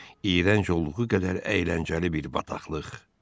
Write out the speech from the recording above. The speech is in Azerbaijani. İyrənc olduğu qədər əyləncəli bir bataqlıq.